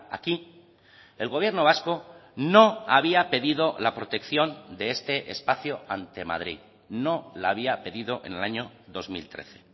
aquí el gobierno vasco no había pedido la protección de este espacio ante madrid no la había pedido en el año dos mil trece